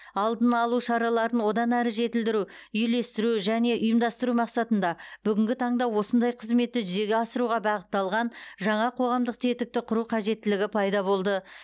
алдын алу шараларын одан әрі жетілдіру үйлестіру және ұйымдастыру мақсатында бүгінгі таңда осындай қызметті жүзеге асыруға бағытталған жаңа қоғамдық тетікті құру қажеттілігі пайда болды